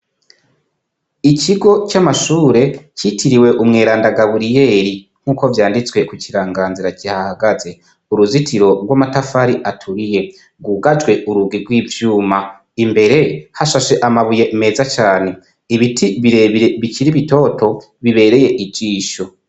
Ikigo cy'amashure citiriwe umweranda gaburiyeli nk'uko vyanditswe ku kiranganzira gihahagaze, uruzitiro rw'amatafari aturiye rwugajwe urugwi rw'ivyuma imbere hashashe amabuye meza cyane ibiti birebire bikiri bitoto bibereye ijisho.